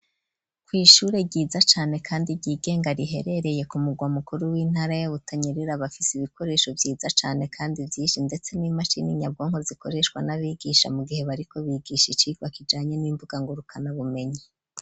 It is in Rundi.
Kw'ishure ryiza cane kandi ryigenga riherereye kumurwa mukuru w'intara ya Butanyerera bafise ibikoresho vyiza cane kandi vyishi ndetse n'imashini nyabwonko zikoreshwa n'abigisha mu gihe bariko bigisha icirwa kijanye n'imbuga ngurukana bumenyi.